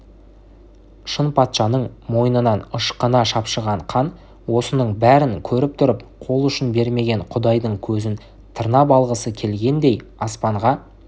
шынпатшаның мойнынан ышқына шапшыған қан осының бәрін көріп тұрып қол ұшын бермеген құдайдың көзін тырнап алғысы келгендей аспанға